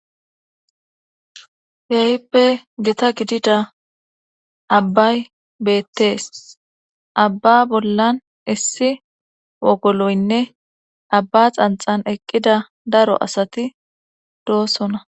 Kehippe dita gidida abbay beettees abba bollan issi wogoloynne abba xanxan eqqida daro asati doosona